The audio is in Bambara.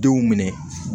Denw minɛ